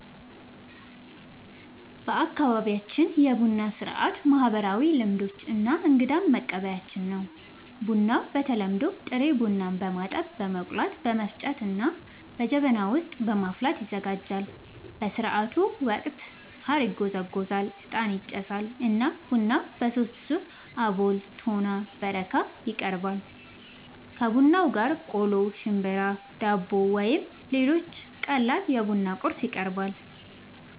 በአካባቢያችን የቡና ሥርዓት ማህበራዊ ልምዶች እና እንግዳን መቀበያችን ነው። ቡናው በተለምዶ ጥሬ ቡናን በማጠብ፣ በመቆላት፣ በመፍጨት እና በጀበና በማፍላት ይዘጋጃል። በሥርዓቱ ወቅት ሣር ይጎዘጎዛል፣ ዕጣን ይጨሳል እና ቡናው በሦስት ዙር (አቦል፣ ቶና እና በረካ) ይቀርባል። ከቡናው ጋር ቆሎ፣ ሽምብራ፣ ዳቦ ወይም ሌሎች ቀላል የቡና ቁርስ ይቀርባል።